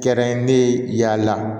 Kɛra ne ye yaala